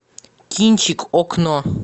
кинчик окно